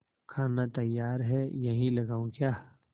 खाना तैयार है यहीं लगाऊँ क्या